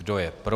Kdo je pro?